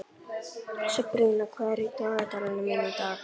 Sabrína, hvað er í dagatalinu mínu í dag?